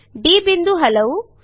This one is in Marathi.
डी बिंदू हलवू